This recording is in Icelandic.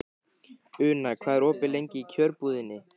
Una, hvað er opið lengi í Kjörbúðinni?